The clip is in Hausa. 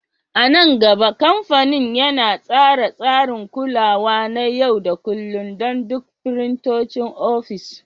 A nan gaba, kamfanin yana tsara tsarin kulawa na yau da kullun don duk firintocin ofis.